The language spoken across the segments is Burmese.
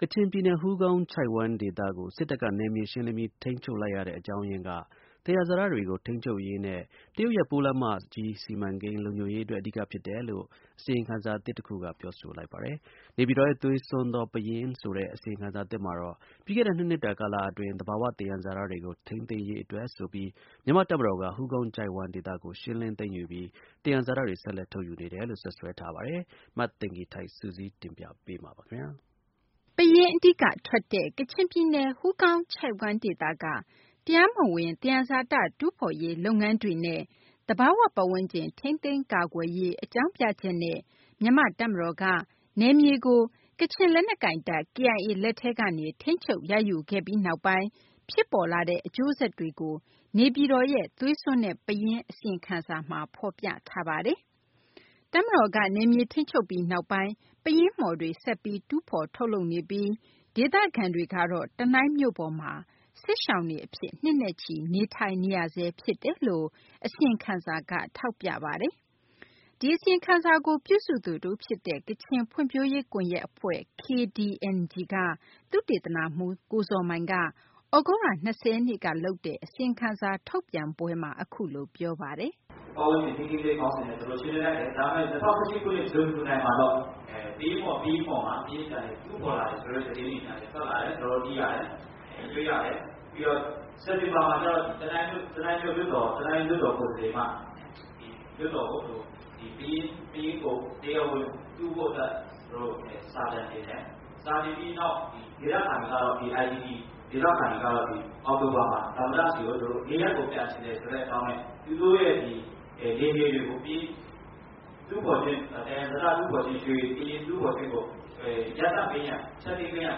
ကချင်ပြည်နယ် ဟူးကောင်း ချိုင့်ဝှမ်း ဒေသကို စစ်တပ်က နယ်မြေ ရှင်းလင်းပြီး ထိန်းချုပ်လိုက်ရတဲ့ အကြောင်းရင်းက သယံဇာတတွေကို ထိန်းချုပ်ရေးနဲ့ တရုတ်ရဲ့ ပိုးလမ်းမကြီး စီမံကိန်း လုံခြုံရေး အတွက် အဓိက ဖြစ်တယ်လို့ အစီရင်ခံစာသစ် တခုက ပြောဆိုလိုက်ပါတယ်။ နေပြည်တော်ရဲ့ သွေးစွန်းသော ပယင်းဆိုတဲ့ အစီရင်ခံစာသစ်မှာတော့ ပြီးခဲ့တဲ့ ၂ နှစ်တာ ကာလ အတွင်း သဘာ၀ သယံဇာတွေကို ထိန်းသိမ်းရေး အတွက်ဆိုပြီး မြန်မာ့ တပ်မတော်က ဟူးကောင်းချိုင့်ဝှမ်း ဒေသကို ရှင်းလင်း သိမ်းယူပြီး သယံဇာတတွေ ဆက်လက် ထုတ်ယူနေတယ်လို့ စွပ်စွဲထားပါတယ်။ မသိင်္ဂ ီထိုက် စုစည်းတင်ပြပေးမှာပါ။ ပယင်း အဓိက ထွက်တဲ့ ကချင်ပြည်နယ် ဟူးကောင်း ချိုင့်ဝှမ်း ဒေသက တရားမဝင် သယံဇာတ တူးဖော်ရေး လုပ်ငန်းတွေနဲ့ သဘာ၀ ပတ်ဝန်းကျင် ထိန်းသိမ်းကာကွယ်ရေး အကြောင်းပြချက်နဲ့ မြန်မာ့ တပ်မတော်က နယ်မြေကို ကချင်လက်နက်ကိုင်တပ် KIA လက်ထဲကနေ ထိန်းချုပ်ရယူခဲ့ပြီးနောက်ပိုင်း ဖြစ်ပေါ်လာတဲ့ အကျိုးဆက်တွေကို နေပြည်တော်ရဲ့ သွေးစွန်းတဲ့ ပယင်း အစီရင်ခံစာမှာ ဖော်ပြထားပါတယ်။ တပ်မတော်က နယ်မြေ ထိန်းချုပ်ပြီး နောက်ပိုင်းမှာ ပယင်းမှော်တွေ ဆက်ပြီး တူးဖော် ထုတ်လုပ်နေပြီး ဒေသခံတွေကတော့ တနိုင်းမြို့ပေါ်မှာ စစ်ရှောင်တွေ အဖြစ် နှစ်နဲ့ချီ နေထိုင်နေရဆဲ ဖြစ်တယ်လို့ အစီရင်ခံစာက ထောက်ပြပါတယ်။ ဒီအစီရင်ခံစာကို ပြုစုသူ တဦးဖြစ်တဲ့ ကချင်ဖွံ့ဖြိုးရေး ကွန်ယက် အဖွဲ့ KDNG က သုတေသနမှူး ဇော်မိုင်က သြဂုတ်လ ၂၀ ရက်နေ့က လုပ်တဲ့ အစီရင်ခံစာ ထုတ်ပြန်ပွဲမှာ အခုလို ပြောပါတယ်။ “ပတ်ဝန်းကျင်ထိန်းသိမ်းရေး ရှေ့တန်းက ခေါင်းစဉ်နဲ့ ၂၀၀၇ ခုနှစ် ဇွန်၊ ဇူလိုင်မှာ ပယင်းမှော်တွေမှာ ပယင်းပြန်ပြီးတူးဖော်လာတဲ့သတင်းတွေ ပြန်လည်ထွက်လာတာကို ကျနော်တို့တွေ့ရတယ်။ စက်တင်ဘာမှာကျတော့ တနိုင်းမြို့လွှတ်တော်ကိုယ်စားလှယ်က လွှတ်တော်မှာ ပယင်းကို တရားဝင်တူးဖို့အတွက် စာတင်တယ်။ စာတင်ပြီးနောက် IDP ဒေသခံတွေကတော့ သမ္မတဆီကို နေရပ်ကို ပြန်ချင်တဲ့အကြောင်းနဲ့ သူတို့နယ်မြေတွေမှာ ပယင်း၊ ရွှေ၊ သံယံဇာတ တူးဖော်ခြင်းတွေကို ရပ်တန့် ဖျက်သိမ်းပေးရန်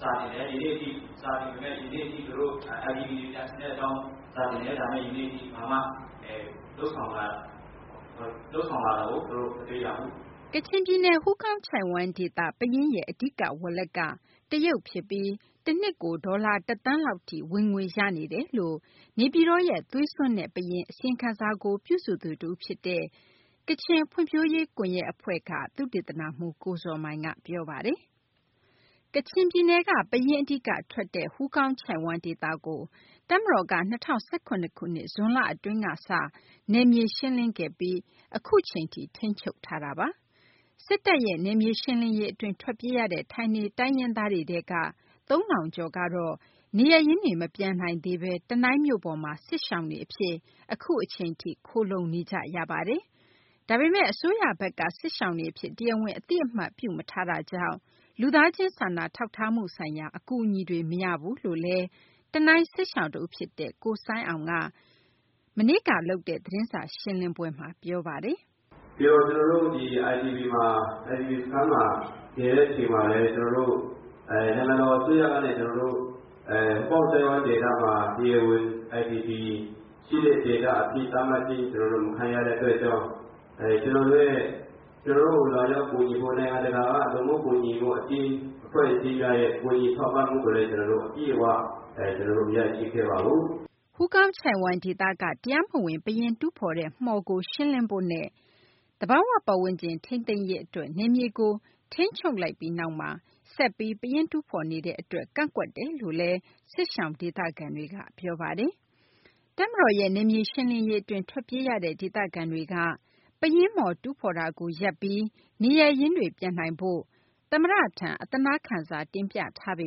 စာတင်တယ်။ IDP တွေ ပြန်ချင်တဲ့အကြောင်း စာတင်တယ် စာတင်ထားပေမယ့် ဒါပေမယ့် ယနေ့အထိ လုပ်ဆောင်လာတာကို ကျနော်တို့ မတွေ့ရဘူး။” ကချင်ပြည်နယ် ဟူးကောင်းချိုင့်ဝှမ်းဒေသ ပယင်းရဲ့ အဓိက ဝယ်လက်က တရုတ်ဖြစ်ပြီး တနှစ်ကို ဒေါ်လာ ၁ သန်းလောက်ထိ ဝင်ငွေရနေတယ်လို့ နေပြည်တော်ရဲ့ သွေးစွန်းတဲ့ ပယင်း အစီရင်ခံစာကို ပြုစုသူ တဦး ဖြစ်တဲ့ ကချင်ဖွံ့ဖြိုးရေး ကွန်ယက် အဖွဲ့ KDNG က သုတေသနမှူး ကိုဇော်မိုင်က ပြောပါတယ်။ ကချင်ပြည်နယ်က ပယင်း အဓိက ထွက်တဲ့ ဟူးကောင်းချိုင့်ဝှမ်း ဒေသကို တပ်မတော်က ၂၀၁၇ ခုနှစ် ဇွန်လ အတွင်း နယ်မြေ ရှင်းလင်းပြီး အခုအချိန်ထိ ထိန်းချုပ်ထားပါတယ်။ စစ်တပ်ရဲ့ နယ်မြေ ရှင်းလင်းရေး အတွင်း ထွက်ပြေးရတဲ့ ဌာနေတိုင်းရင်းသား ၃ ထောင်ကျော်ကတော့ နေရပ်ရင်းတွေ မပြန်နိုင်သေးဘဲ တနိုင်းမြို့ပေါ်မှာ စစ်ရှောင်တွေ အဖြစ် အခုအချိန်ထိ ခိုလှုံနေကြရပါတယ်။ ဒါပေမယ့်လည်း အစိုးရဘက်က စစ်ရှောင်တွေ အဖြစ် တရားဝင် အသိအမှတ်မပြုထားတာကြောင့် လူသားချင်း စာနာထောက်ထားမှု ဆိုင်ရာ အကူအညီတွေ မရဘူးလို့လည်း တနိုင်း စစ်ရှောင် တဦး ဖြစ်တဲ့ ကိုဆိုင်းအောင်က မနေ့က လုပ်တဲ့ သတင်းစာ ရှင်းလင်းပွဲမှာ ပြောဆိုလိုက်ပါတယ်။ “ကျနော်တို့ IDP စခန်းမှာ နေတဲ့အချိန်မှာလည်း နိုင်ငံတော်အစိုးရကနေ ဟူးကောင်းချိုင့်ဝှမ်းဒေသမှာ IDP ရှိတဲ့ဒေသအဖြစ် သတ်မှတ်ချင်းမခံရတဲ့အတွက်ကြောင့် ကျနော်တို့ကို လာရောက်ကူညီဖို့ နိုင်ငံတကာက လူမှုကူညီမှုအသင်း ၊ အဖွဲ့အစည်းတွေရဲ့ ကူညီထောက်ပံ့မှုကိုလည်း ကျနော်တို့ အပြည့်အ၀ မရခဲ့ဘူး။” ဟူးကောင်းချိုင့်ဝှမ်း ဒေသက တရားမဝင် ပယင်း တူးဖော်တဲ့ မှော်ကို ရှင်းလင်းဖို့နဲ့ သဘာ၀ ပတ်ဝန်းကျင် ထိန်းသိမ်းရေး အတွက် နယ်မြေကို ရှင်းလင်း ထိန်ချုပ်လိုက်ပြီးနောက်မှာ ဆက်လက်ပြီး ပယင်း တူးဖော်နေတဲ့ အတွက် ကန့်ကွက်တယ်လို့လည်း စစ်ရှောင် ဒေသခံတွေက ပြောပါတယ်။ တပ်မတော်ရဲ့ နယ်မြေ ရှင်းလင်းရေး အတွင်း ထွက်ပြေးခဲ့ရတဲ့ ဒေသခံတွေက ပယင်းမှော် တူးဖော်တာကို ရပ်ပြီး နေရပ်ရင်းတွေ ပြန်နိုင်ဖို့ သမ္မတထံကို အသနားခံစာ တင်ပြထားပေ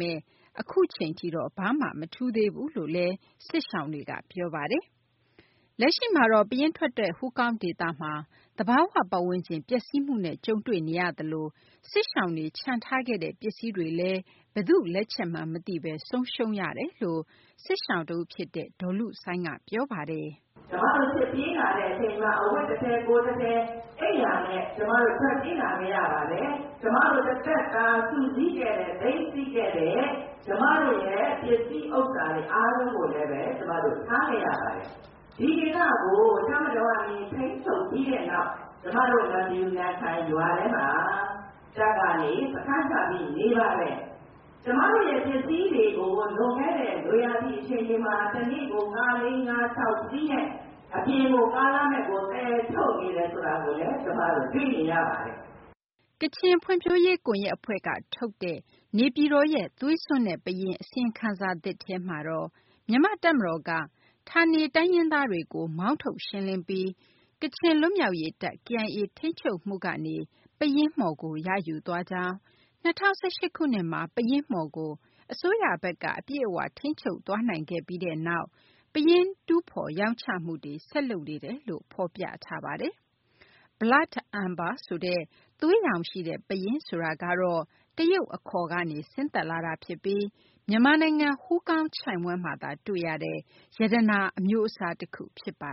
မယ့် အခုအချိန်ထိတော့ ဘာမှ မထူးသေးဘူးလို့လည်း စစ်ရှောင်တွေက ပြောပါတယ်။ လက်ရှိမှာတော့ ပယင်းထွက်တဲ့ ဟူးကောင်းဒေသမှာ သဘာ၀ ပတ်ဝန်းကျင် ပျက်စီးမှုနဲ့ ကြုံတွေ့နေရသလို စစ်ရှောင်တွေ ချန်ထားခဲ့တဲ့ ပစ္စည်းတွေလည်း ဘယ်သူ့ လက်ချက်မှန်း မသိဘဲ ဆုံးရှုံးရတယ်လို့ စစ်ရှောင် တဦး ဖြစ်တဲ့ ဒေါ်လုဆိုင်းက ပြောပါတယ်။ “ကျမတို့ စစ်ပြေးလာတဲ့အချိန်မှာ အဝတ်တထည် ကိုယ်တထည် နဲ့ ထွက်ပြေးလာခဲ့ရပါတယ်။ ကျမတို့ တသက်တာ စုဆောင်းခဲ့တဲ့ သိမ်းဆည်းခဲ့တဲ့ ကျမတို့ ပစ္စည်းဥစ္စာတွေအားလုံးကို ထားခဲ့ရပါတယ်။ ဒီဒေသကို တပ်မတော်ကနေ ထိန်းချုပ်ပြီးတဲ့နောက် ကျမတို့ ရွာထဲမှာ တပ်က စခန်းချပြီးနေပါတယ်။ ကျမတို့ပစ္စည်းတွေကို လွန်ခဲ့တဲ့ နွေရာသီအချိန်မှာ တနေ့ကို ကား ၄-၅-၆ စီးနဲ့ အပြင် ကားလမ်းတွေကို သယ်ထုတ် နေတယ်ဆိုတာကိုလည်း ကျမတို့ တွေ့ခဲ့ရပါတယ်။” ကချင် ဖွံ့ဖြိုးရေး ကွန်ယက် အဖွဲ့က ထုတ်တဲ့ နေပြည်တော်ရဲ့ သွေးစွန်းတဲ့ ပယင်း အစီရင်ခံစာ သစ်ထဲမှာတော့ မြန်မာ့ တပ်မတော်က ဌာနေတိုင်းရင်းသားတွေကို မောင်းထုတ် ရှင်းလင်းပြီး ကချင်လွတ်မြောက်ရေး တပ် KIA ထိန်းချုပ်မှုကနေ ပယင်းမှော်ကို ရယူသွားကြောင်း၊ ၂၀၁၈ ခုနှစ်မှာ ပယင်းမှော်ကို အစိုးရဘက်က အပြည့်အ၀ ထိန်းချုပ်သွားနိုင်ခဲ့ပြီးနောက် ပယင်း တူးဖော် ရောင်းချမှုတွေ ဆက်လုပ်နေတယ်လို့ ဖော်ပြထားပါတယ်။ Blood Amber ဆိုတဲ့ သွေးရောင်ရှိတဲ့ ပယင်းဆိုတာကတော့ တရုတ် အခေါ်ကနေ ဆင်းသက်လာတာ ဖြစ်ပြီး မြန်မာနိုင်ငံ ဟူးကောင်း ချိုင့်ဝှမ်းမှာသာ တွေ့ရတဲ့ ရတနာ အမျိုးအစား တခု ဖြစ်ပါ